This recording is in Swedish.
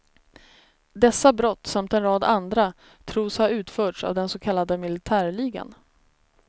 Dessa brott, samt en rad andra, tros ha utförts av den så kallade militärligan.